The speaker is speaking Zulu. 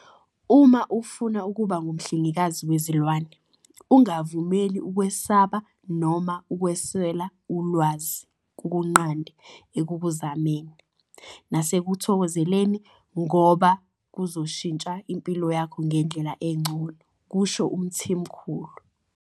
"Uma ufuna ukuba ngumhlengikazi wezilwane, ungavumeli ukwesaba noma ukuswela ulwazi kukunqande ekukuzameni nasekukuthokozeleni ngoba kuzoshintsha impilo yakho ngendlela engcono," kusho uMthimkhulu.